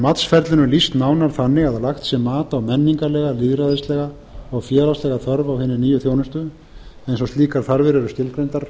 matsferlinu lýst nánar þannig að lagt sé mat á menningarlega lýðræðislega félagslega þörf á hinni nýju þjónustu eins og slíkar þarfir eru skilgreindar